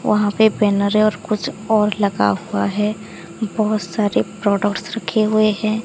वहां पे बैनरे और कुछ और लगा हुआ है बहोत सारे प्रोडक्ट्स रखे हुए है।